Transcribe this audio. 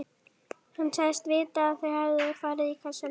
Hann sagðist vita að þau hefðu farið í kassana.